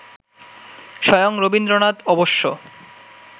স্বয়ং রবীন্দ্রনাথ অবশ্য